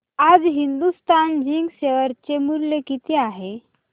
आज Hindustan zinc share चे मूल्य किती आहे